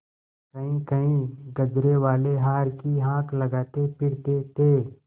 कहींकहीं गजरेवाले हार की हाँक लगाते फिरते थे